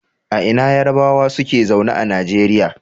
A ina Yarbawa suke zaune a Nigeria?